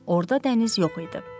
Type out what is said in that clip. Orda dəniz yox idi.